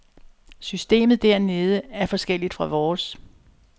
Systemet dernede er forskelligt fra vores.